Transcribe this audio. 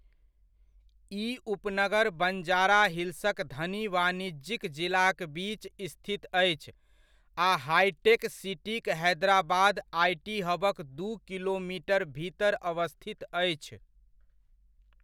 ई उपनगर बञ्जारा हिल्सक धनी वाणिज्यिक जिलाक बीच स्थित अछि आ हाइटेक सिटीक हैदराबाद आईटी हबक दू किलोमिटर भीतर अवस्थित अछि।